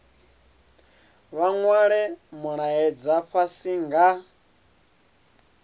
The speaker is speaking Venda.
vha nwale mulaedza fhasi nga